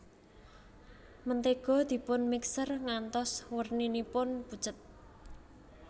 Mentega dipun mixer ngantos werninipun pucet